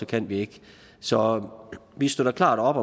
kan vi ikke så vi støtter klart op